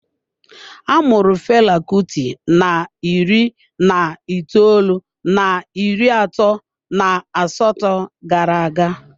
A mụrụ Fela Kuti na iri na itoolu na iri atọ na asatọ gara-aga.